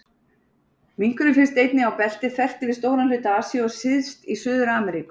Minkurinn finnst einnig á belti þvert yfir stóran hluta Asíu og syðst í Suður-Ameríku.